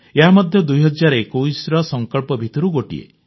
ଏହା ମଧ୍ୟ 2021ର ସଂକଳ୍ପ ଭିତରୁ ଗୋଟିଏ